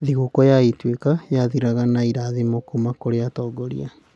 Thigũkũ ya Ituĩka yathiraga na irathimo kuuma kũrĩ atongoria.